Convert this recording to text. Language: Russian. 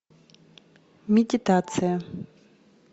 медитация